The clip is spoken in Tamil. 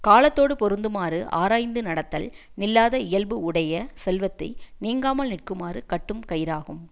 காலத்தோடுப் பொருந்துமாறு ஆராய்ந்து நடத்தல் நில்லாத இயல்பு உடைய செல்வத்தை நீங்காமல் நிற்குமாறு கட்டும் கயிறாகும்